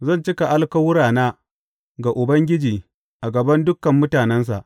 Zan cika alkawurana ga Ubangiji a gaban dukan mutanensa.